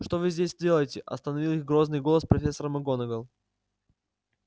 что вы здесь делаете остановил их грозный голос профессора макгонагалл